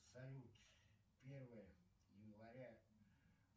салют первое января